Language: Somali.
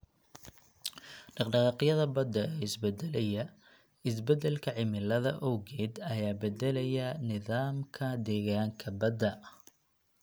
Dhaqdhaqaaqyada badda ee isbeddelaya isbeddelka cimilada awgeed ayaa beddelaya nidaamka deegaanka badda.